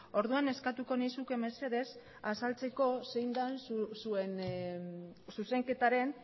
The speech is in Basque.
orduan eskatuko nizuke mesedez azaltzeko zein den zuen zuzenketaren